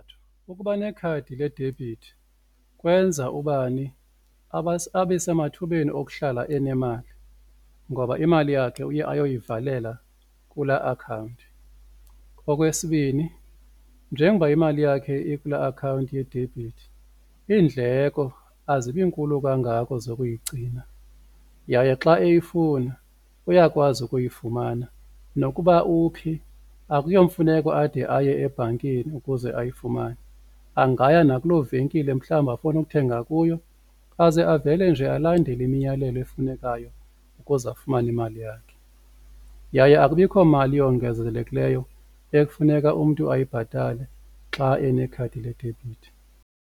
Ukuba nekhadi ledebhithi kwenza ubani abe semathubeni okuhlala enemali ngoba imali yakhe uye ayoyivalela kula akhawunti. Okwesibini, njengoba imali yakhe ikula akhawunti yedebhithi iindleko azibi nkulu kangako zokuyigcina yaye xa eyifuna uyakwazi ukuyifumana nokuba uphi akuyomfuneko ade aye ebhankini ukuze ayifumane angaya nakuloo venkile mhlawumbi afuna ukuthenga kuyo aze avele nje alandele imiyalelo efunekayo ukuze afumane imali yakhe. Yaye akubikho mali yongezelekileyo ekufuneka umntu ayibhatale xa enekhadi ledebhithi.